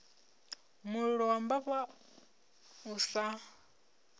mulilo wa mbava u sa